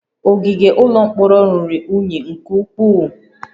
Ogige ụlọ mkpọrọ ruru unyi nke ukwuu